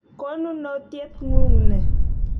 Konunotyet ng'ung' ni.